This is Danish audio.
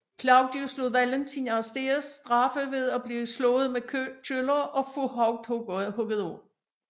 Claudius lod Valentin arrestere straffe ved at blive slået med køller og få hovedet hugget af